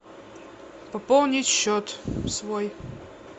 пополнить счет свой